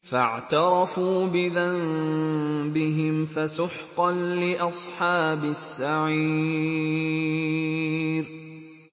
فَاعْتَرَفُوا بِذَنبِهِمْ فَسُحْقًا لِّأَصْحَابِ السَّعِيرِ